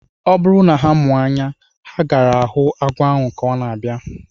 Ọ bụrụ na ha mụ anya, ha gaara ahụ agwọ ahu ka ọ na-abịa